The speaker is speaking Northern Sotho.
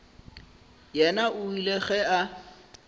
yena o ile ge a